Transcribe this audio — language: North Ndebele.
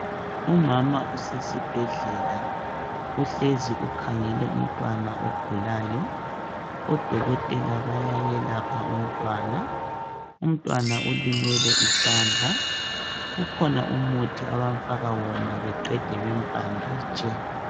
Umama usesibhedlela uhlezi ukhangele umntwana ogulayo odokotela bayayelapha umntwana umntwana olimele isandla kukhona umuthi abamfaka yona beqede bembhanditshe.